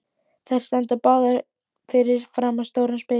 Þær standa báðar fyrir framan stóran spegil.